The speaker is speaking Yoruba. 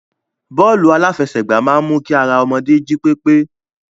Bọ́ọ́lù aláfẹsẹ̀gbá máa ń mu kí ara ọmọdé jí pépé.